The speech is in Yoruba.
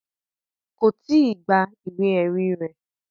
Kò tíì gba ìwé ẹ̀rí rẹ̀